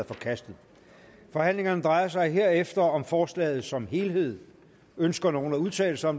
forkastet forhandlingerne drejer sig herefter om forslaget som helhed ønsker nogen at udtale sig